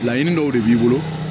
Laɲini dɔw de b'i bolo